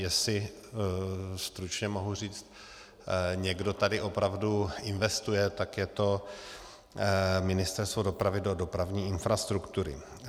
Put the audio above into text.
Jestli, stručně mohu říct, někdo tady opravdu investuje, tak je to Ministerstvo dopravy do dopravní infrastruktury.